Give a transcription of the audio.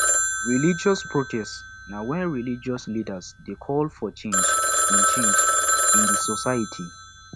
religious protest na when religious leaders de call for change in change in di society